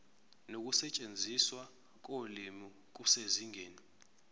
nokusetshenziswa kolimi kusezingeni